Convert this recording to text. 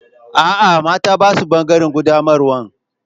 Aa, mata ba su bangaren qaddamarwan.